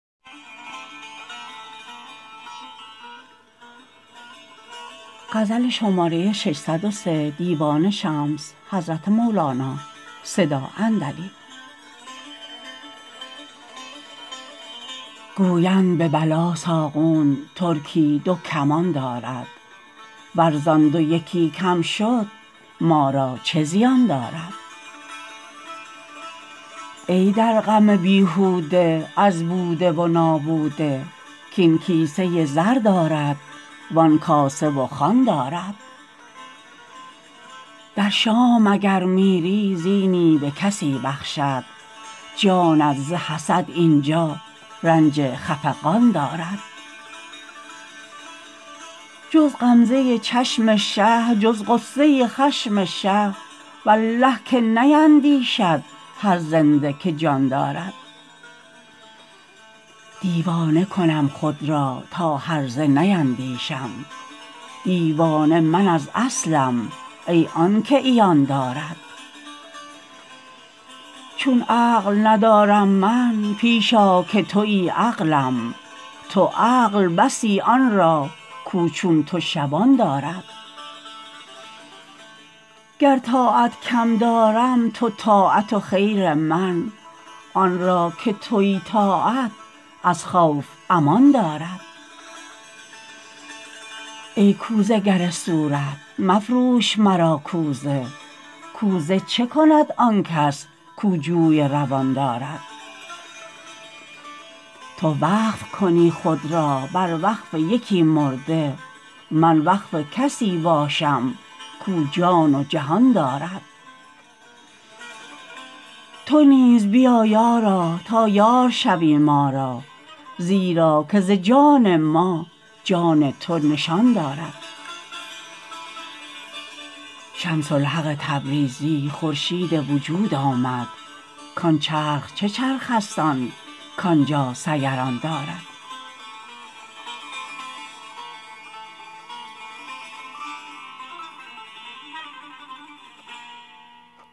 گویند به بلاساغون ترکی دو کمان دارد ور زآن دو یکی کم شد ما را چه زیان دارد ای در غم بیهوده از بوده و نابوده کاین کیسه ی زر دارد وآن کاسه و خوان دارد در شام اگر میری زینی به کسی بخشد جانت ز حسد این جا رنج خفقان دارد جز غمزه ی چشم شه جز غصه ی خشم شه والله که نیندیشد هر زنده که جان دارد دیوانه کنم خود را تا هرزه نیندیشم دیوانه من از اصلم ای آنک عیان دارد چون عقل ندارم من پیش آ که توی عقلم تو عقل بسی آن را کاو چون تو شبان دارد گر طاعت کم دارم تو طاعت و خیر من آن را که توی طاعت از خوف امان دارد ای کوزه گر صورت مفروش مرا کوزه کوزه چه کند آن کس کاو جوی روان دارد تو وقف کنی خود را بر وقف یکی مرده من وقف کسی باشم کاو جان و جهان دارد تو نیز بیا یارا تا یار شوی ما را زیرا که ز جان ما جان تو نشان دارد شمس الحق تبریزی خورشید وجود آمد کآن چرخ چه چرخ است آن کآن جا سیران دارد